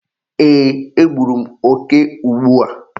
Eeh, egburu m oke ugbu a.